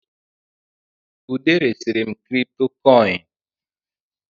Ude resiri m kripitokoini